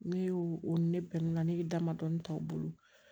Ne y'o o ni ne bɛ mun na ne ye dama dɔɔni ta o bolo